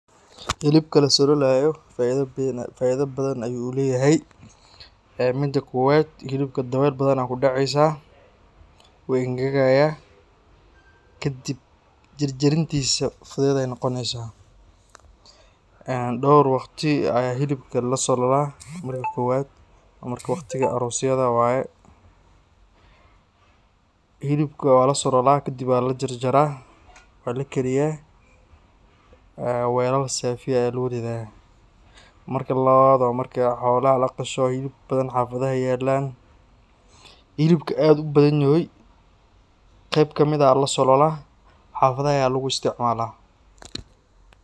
Hilibka lasololayo faido bathan ayuu leyahay, ee mida kowad hilibka dawel bathan aa kudaceysaah uu engagayah kadib jarjarintisa fuded ay noqoneysaah. Een dowr waqti ayaa hilibka lasololah , marka kowad wa marka waqtiyada aroska waye, hilibka walasololah , kadib walajarjarah , walakariyah ee welal safi aya luguridaah. Marka lawad wa marka xolaha laqasho hilib bathan xafadaha ay yalan, hilibka ad ubadhanyaho qeb kamid ah ayaa lasololah xafadaha aya luguisticmalah.